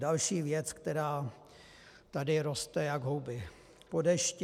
Další věc, která tady roste jak houby po dešti.